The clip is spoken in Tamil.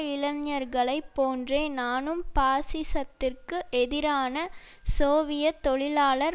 இளைஞர்களை போன்றே நானும் பாசிசத்திற்கு எதிரான சோவியத் தொழிலாளர்